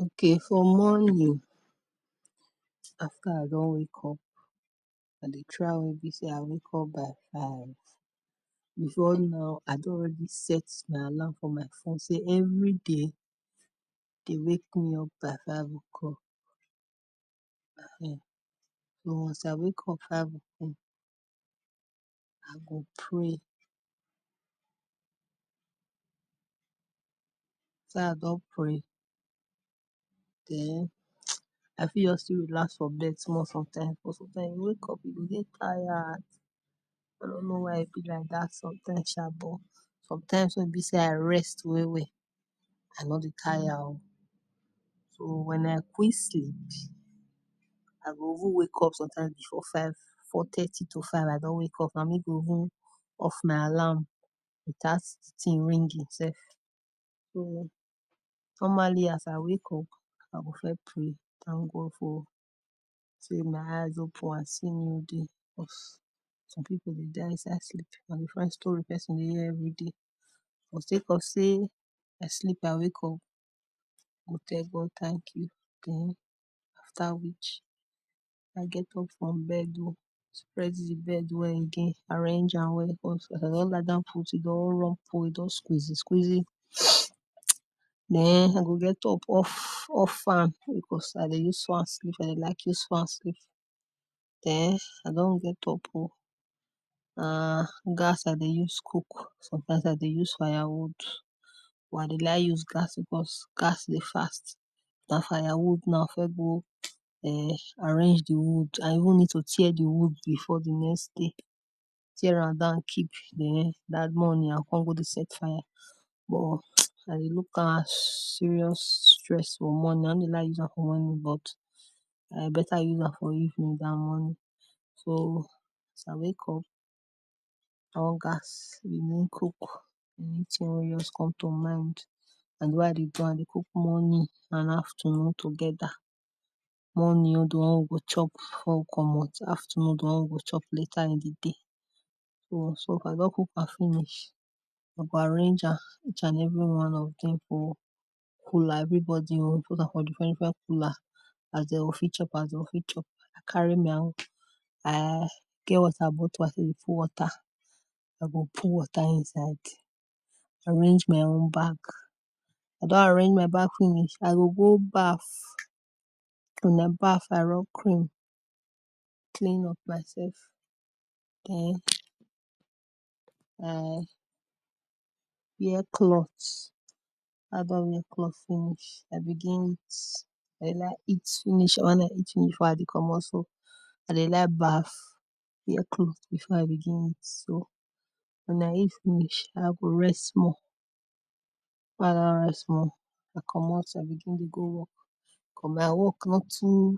Okay for morning, after I don wake up, I try make e be sey I wake up by five before now I don already set alarm for my phone sey every day, dey wake me up by five o’clock um den as I wake up five o’clock I go pray after I don pray den I fit just relax for bed small because when I wake up I dey dey tired I nor know why e dey be like dat sometimes sha, but sometimes wey e be sey I rest well well, I nor dey tire oh so when I quick sleep, I go even wake up some times, before four thirty to five, I don wake up, na me go even off my alarm without it ringing sef, so normally as I wake up, I go first pray, thank God for sey my eyes open, I see new day because some people dey die inside sleep, na different story person dey hear every day but sake of sey, I sleep I wake up, I go tell God thank you. Dem after which I go get up from bed oh, spread di bed well again, arrange am well because as I don lie down put, e don rumple, e don squeezy squeezy den I go get up off off fan, because I dey use fan sleep, I dey like use fan sleep, den i don get up oh, na gas I dey use cook sometimes I dey use fire wood, but I dey like use gas, because gas dey fast. dat fire wood na I go first go um arrange di wood, I go even need to tear di wood before di next day, tear am down keep, den dat morning I go come go dey set fire, but I dey look am as serious stress for morning, I nor dey like use am for morning but, I better use am for evening dan morning so as I wake up, on gas, begin cook anything wen just come to mind, na so I dey do am I dey cook morning and afternoon together. Morning own di one we go chop before we komot, afternoon di one we go chop later in di day, so if I don cook am finish, I go arrange am each and every one of dem for cooler, everybody own for different different cooler, as dem go fit chop as dem go fit chop, I carry my own I get water bottler wey I take dey put water, I go put water inside, arrange my own bag, if I don arrange my bag finish, I go go baf, wen I baf I rob cream, clean up myself den I wear cloth, when I don wear cloth finish I begin eat, when I eat finish I dey like eat finish before I komot so I dey like baf, wear clothe before I begin eat, so wen I eat finish, I go rest small, wen I don rest small, I komot I begin dey go work because my work nor too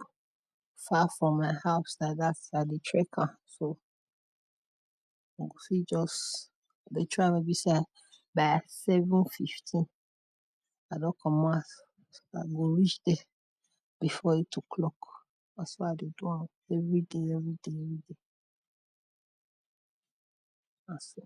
far from my house like dat, I dey trek am so I go fit just dey try make e be sey I by seven fifteen, I don komot house I go reach there before eight o’clock. Na so I dey do am, everyday everyday everyday na so.